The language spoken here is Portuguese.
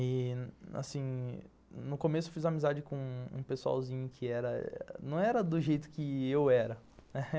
E, assim, no começo fiz amizade com um pessoalzinho que não era do jeito que eu era